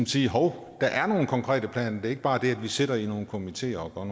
sige at hov der er nogle konkrete planer det er ikke bare det at vi sidder i nogle komiteer og